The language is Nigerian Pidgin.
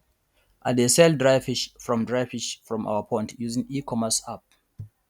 i dey sell dry fish from dry fish from our pond using ecommerce app